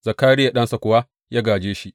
Zakariya ɗansa kuwa ya gāje shi.